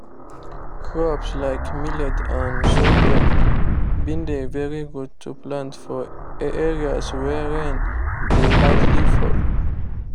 crops like millet and sorghum been dey very good to plant for areas wey rain dey hardly fall